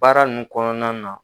Baara nunnu kɔnɔna na.